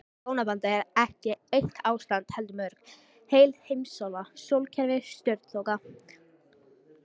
Hjónabandið ekki eitt ástand heldur mörg, heil heimsálfa, sólkerfi, stjörnuþoka.